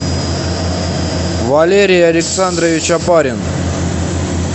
валерий александрович опарин